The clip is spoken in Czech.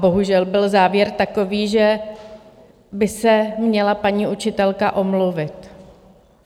Bohužel byl závěr takový, že by se měla paní učitelka omluvit.